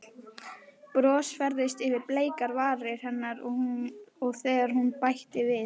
Bros færðist yfir bleikar varir hennar þegar hún bætti við